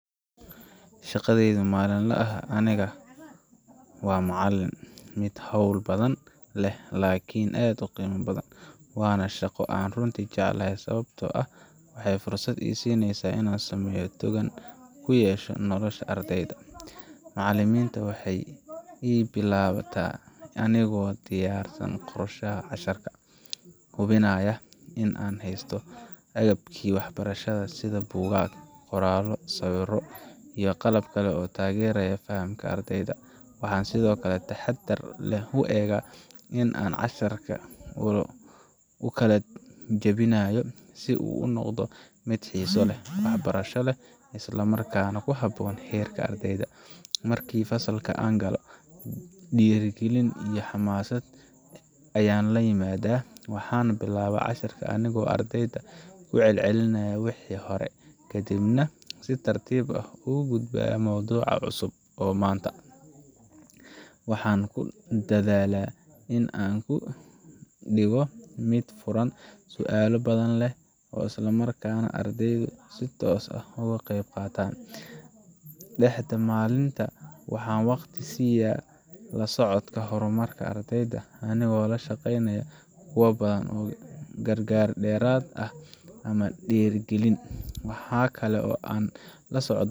Shaadadayda maalinlaha ah aniga oo ah macalin waa mid hawl badan leh laakiin aad u qiimo badan, waana shaqo aan runtii jecelahay sababtoo ah waxay fursad ii siisaa inaan saameyn togan ku yeesho nolosha ardayda. Maalinta waxay ii bilaabataa anigoo diyaarsan qorshaha casharka, hubinaya in aan haysto agabkii waxbarashada sida buugaag, qoraallo, sawirro, iyo qalab kale oo taageeraya fahamka ardayda. Waxaan si taxaddar leh u eegaa sida aan casharka u kala jebinayo si uu u noqdo mid xiiso leh, waxbarasho leh, isla markaana ku habboon heerka ardayda. Markii fasalka aan galo, dhiirrigelin iyo xamaasad ayaan la yimaadaa. Waxaan bilaabaa casharka anigoo ardayda ku celcelinaya wixii hore, kadibna si tartiib ah ugu gudba mowduuca cusub. Waxaan ku dadaalaa in aan ka dhigo mid furan, su’aalo badan leh, isla markaana aan ardaydu si toos ah uga qayb qaataan. Dhexda maalinta, waxaan waqti siiya la socodka horumarka ardayda, anigoo la shaqeynaya kuwa u baahan gargaar dheeraad ah ama dhiirrigelin. Waxa kale oo aan